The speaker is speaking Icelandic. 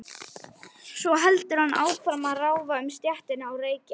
Svo heldur hann áfram að ráfa um stéttina og reykja.